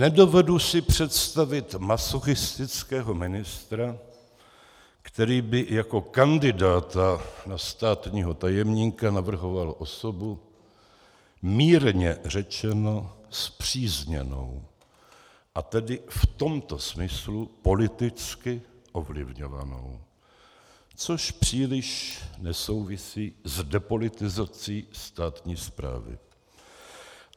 Nedovedu si představit masochistického ministra, který by jako kandidáta na státního tajemníka navrhoval osobu mírně řečeno spřízněnou, a tedy v tomto smyslu politicky ovlivňovanou, což příliš nesouvisí s depolitizací státní správy.